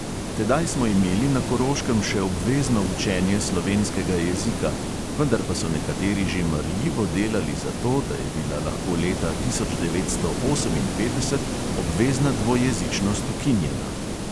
Tedaj smo imeli na koroškem še obvezno učenje slovenskega jezika, vendar pa so nekateri že marljivo delali za to, da je bila lahko leta tisoč devetsto oseminpetdeset obvezna dvojezičnost ukinjena.